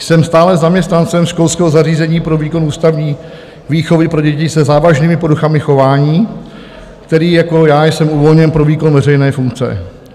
Jsem stále zaměstnancem školského zařízení pro výkon ústavní výchovy pro děti se závažnými poruchami chování, který - jako já - jsem uvolněn pro výkon veřejné funkce.